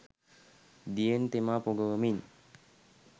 දියෙන් තෙමා පොඟවමින්